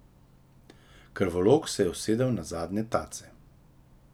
Krvovolk se je usedel na zadnje tace.